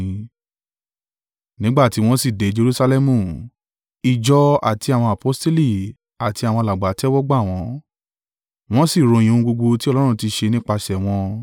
Nígbà tí wọn sì dé Jerusalẹmu, ìjọ àti àwọn aposteli àti àwọn alàgbà tẹ́wọ́gbà wọ́n, wọ́n sì ròyìn ohun gbogbo tí Ọlọ́run ti ṣe nípasẹ̀ wọn.